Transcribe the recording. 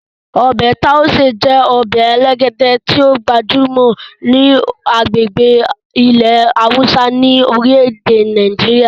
Ọbẹ Tauṣe je ọbẹ elegede ti o gbajumo ni agbegbe ile hausa orile-ede Nàìjíríà.